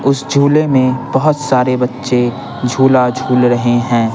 उस झोले में बहुत सारे बच्चे झूला झूल रहे हैं।